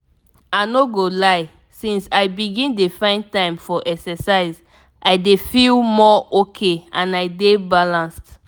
i no go lie since i begin dey find time for exercise i dey feel more okay and i dey balanced.